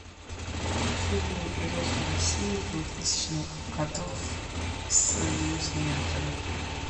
фильмы производства россии двухтысячных годов с известными актерами